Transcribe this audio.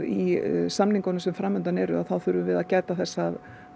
í samningunum sem framundan eru verðum við að gæta þess að